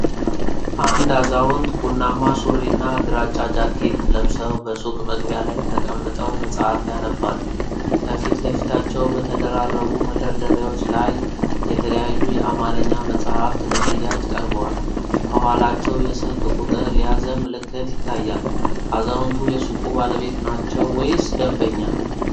አንድ አዛውንት ቡናማ ሱሪና ግራጫ ጃኬት ለብሰው በሱቅ መግቢያ ላይ ተቀምጠው መጽሐፍ ያነባሉ። ከፊት ለፊታቸው በተደራረቡ መደርደሪያዎች ላይ የተለያዩ የአማርኛ መጽሐፍት ለሽያጭ ቀርበዋል። ከኋላቸው የስልክ ቁጥር የያዘ ምልክት ይታያል። አዛውንቱ የሱቁ ባለቤት ናቸው ወይስ ደንበኛ?